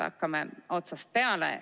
Hakkame otsast peale.